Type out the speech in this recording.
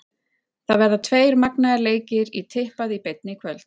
Það verða tveir magnaðir leikir í tippað í beinni í kvöld.